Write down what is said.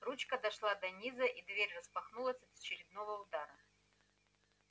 ручка дошла до низа и дверь распахнулась от очередного удара